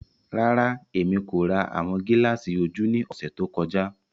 Rara, Emi ko ra awọn gilaasi oju ni ọsẹ to kọja.